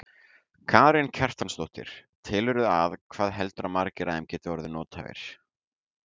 Karen Kjartansdóttir: Telurðu að, hvað heldurðu að margir af þeim geti orðið nothæfir?